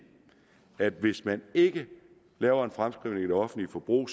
at hvis man ikke laver en fremskrivning i det offentlige forbrug